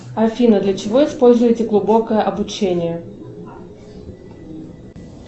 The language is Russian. афина для чего используете глубокое обучение